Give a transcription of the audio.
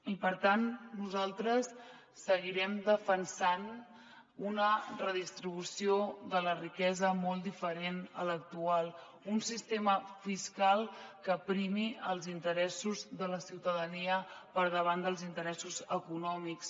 i per tant nosaltres seguirem defensant una redistribució de la riquesa molt diferent de l’actual un sistema fiscal que primi els interessos de la ciutadania per davant dels interessos econòmics